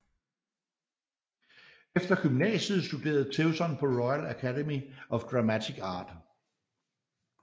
Efter gymnasiet studerede Tewson på Royal Academy of Dramatic Art